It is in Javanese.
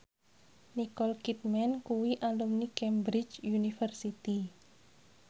Nicole Kidman kuwi alumni Cambridge University